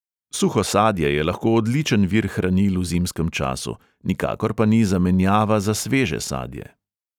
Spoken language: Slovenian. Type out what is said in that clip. Suho sadje je lahko odličen vir hranil v zimskem času, nikakor pa ni zamenjava za sveže sadje.